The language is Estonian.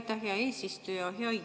Aitäh, hea eesistuja!